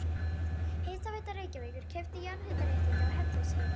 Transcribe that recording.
Hitaveita Reykjavíkur keypti jarðhitaréttindi á Hellisheiði.